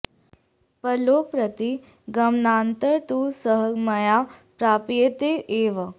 परलोकं प्रति गमनानन्तरं तु सः मया प्राप्यते एव